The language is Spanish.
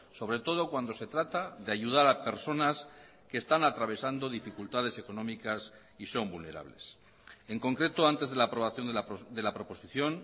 sobre todo cuando se trata de ayudar a personas que están atravesando dificultades económicas y son vulnerables en concreto antes de la aprobación de la proposición